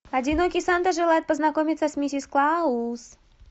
одинокий санта желает познакомиться с миссис клаус